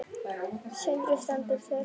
Sindri: Stendur það til?